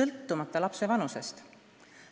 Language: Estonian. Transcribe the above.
sõltumata lapse vanusest.